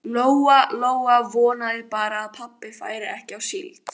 Lóa Lóa vonaði bara að pabbi færi ekki á síld.